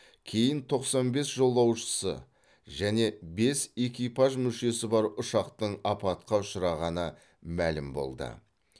кейін тоқсан бес жолаушысы және бес экипаж мүшесі бар ұшақтың апатқа ұшырағаны мәлім болды